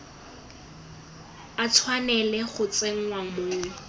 a tshwanela go tsenngwa mo